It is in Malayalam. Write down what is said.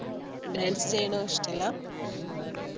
Dance ചെയ്യുന്നതും ഇഷ്ടമല്ല